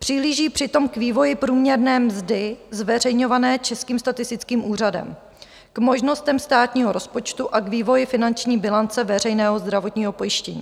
Přihlíží přitom k vývoji průměrné mzdy zveřejňované Českým statistickým úřadem, k možnostem státního rozpočtu a k vývoji finanční bilance veřejného zdravotního pojištění.